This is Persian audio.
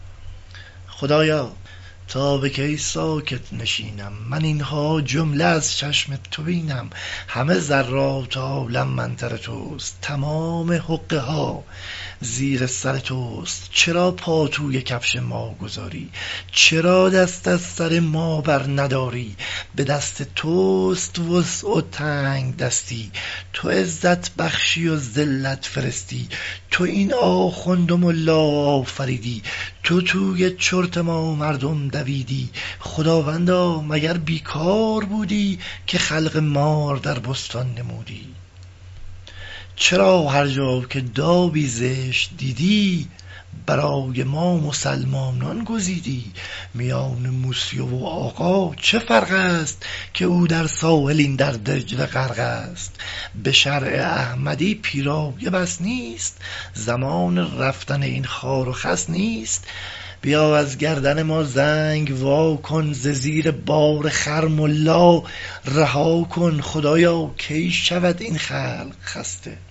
خدایا تا به کی ساکت نشینم من این ها جمله از چشم تو بینم همه ذرات عالم منتر توست تمام حقه ها زیر سر توست چرا پا توی کفش ما گذاری چرا دست از سر ما بر نداری به دست توست وسع و تنگدستی تو عزت بخشی و ذلت فرستی تو این آخوند و ملا آفریدی تو توی چرت ما مردم دویدی خداوندا مگر بی کار بودی که خلق مار در بستان نمودی چرا هر جا که دابی زشت دیدی برای ما مسلمانان گزیدی میان مسیو و آقا چه فرقست که او در ساحل این در دجله غرقست به شرع احمدی پیرایه بس نیست زمان رفتن این خار و خس نیست بیا از گردن ما زنگ واکن ز زیر بار خر ملا رها کن